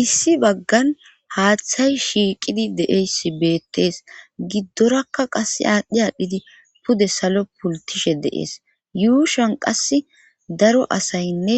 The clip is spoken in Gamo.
issi baggan haaththay shiiqidi deeyssi beettees giddorakka qass aadhdhi aadhdhidi pude salo pultishe deees yuushan qass daro asaynne